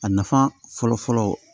A nafa fɔlɔ fɔlɔ